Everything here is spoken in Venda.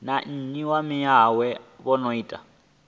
na nnyi ya maimo na